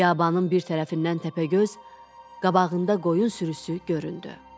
Biyabanın bir tərəfindən Təpəgöz qabağında qoyun sürüsü göründü.